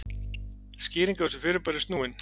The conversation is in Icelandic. skýring á þessu fyrirbæri er snúin